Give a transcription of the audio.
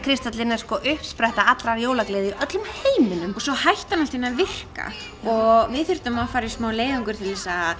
kristal jólakristallinn er sko uppspretta allrar jólagleði í öllum heiminum svo hætti hann allt í einu að virka og við þurftum að fara í smá leiðangur til að